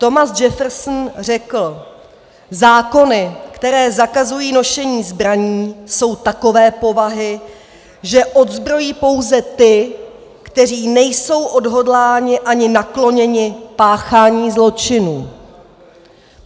Thomas Jefferson řekl: "Zákony, které zakazují nošení zbraní, jsou takové povahy, že odzbrojí pouze ty, kteří nejsou odhodláni ani nakloněni páchání zločinů."